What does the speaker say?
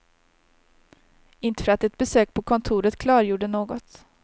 Inte för att ett besök på kontoret klargjorde något.